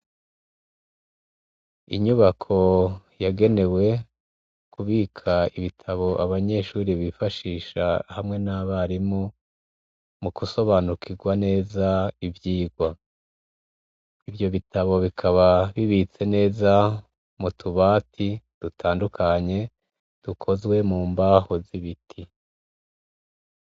Inyubako yagenewe kubika ibitabo abanyeshure bifashisha hamwe nabarimu mugusobanukirwa ivyirwa. Ivyo bitabo bikaba bibitse neza mutubati dutandukanye dukozwe mumbaho z'ibiti.